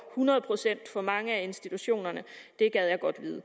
hundrede procent på mange af institutionerne det gad jeg godt vide